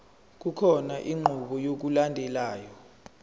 kukhona inqubo yokulandelayo